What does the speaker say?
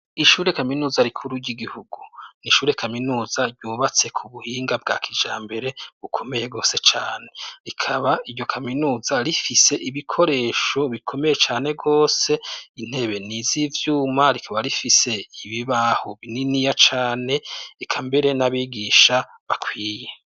Ishure Kaminuza rikuru ry'igihugu ni ishure kaminuza ryubatse ku buhinga bwa kijambere bukomeye rwose cane. Rikaba iryo kaminuza rifise ibikoresho bikomeye cane rwose. Intebe niz'ivyuma rikaba rifise ibibaho bininiya cane, eka mbere n'abigisha bakwiye.